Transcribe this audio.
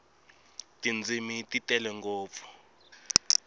tindzimi ti tele ngopfu